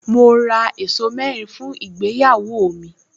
Mo ra ẹ̀ṣọ́ mẹ́rin fún ìgbéyàwó mi